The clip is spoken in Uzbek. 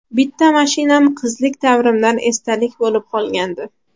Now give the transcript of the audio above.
Bitta mashinam qizlik davrimdan esdalik bo‘lib qolgandi.